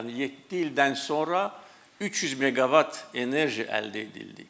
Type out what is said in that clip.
Yəni yeddi ildən sonra 300 meqavat enerji əldə edildi.